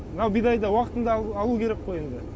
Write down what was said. мынау бидайды уақытында алу керек қой енді